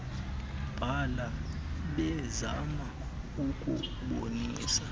bala bezama ukubonisa